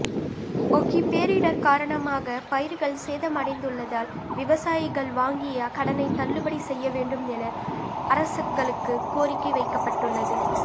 ஒகி பேரிடர் காரணமாக பயிர்கள் சேதமடைந்துள்ளதால் விவசாயிகள் வாங்கிய கடனைத் தள்ளுபடி செய்ய வேண்டும் என அரசுகளுக்கு கோரிக்கை வைக்கப்பட்டுள்ளது